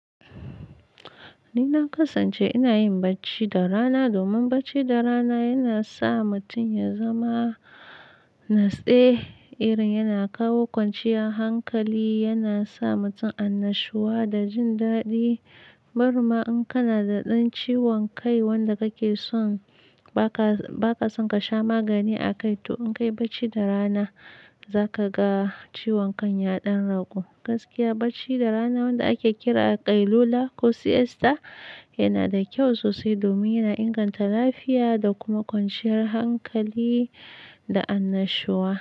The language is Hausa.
Ni na kasance ina yin bacci da rana domin bacci da rana yana sa mutum ya zama nastse, irin yana kawo kwanciyar hankali, yana sa mutum annashuwa da jin daɗi. Barinma in kana da ɗan ciwon kai wanda kake son ba ka, ba ka son ka sha magani a kai, to in ka yi bacci da rana za ka ga ciwon kan ya ɗan ragu. Gaskiya bacci da rana wanda ake kira ƙailula ko siesta yana da kyau sosai domin yana inganta lafiya da kuma kwanciyar hankali da annashuwa.